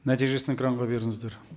нәтижесін экранға беріңіздер